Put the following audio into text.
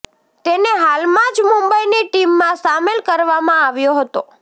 તેને હાલમાં જ મુંબઈની ટીમમાં સામેલ કરવામાં આવ્યો હતો